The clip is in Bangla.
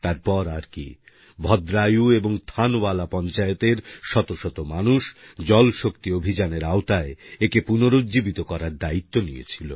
তারপর আর কি ভদ্রায়ু এবং থানওয়ালা পঞ্চায়েতের শত শত মানুষ জল শক্তি অভিযানের আওতায় একে পুনরুজ্জীবিত করার দায়িত্ব নিয়েছিল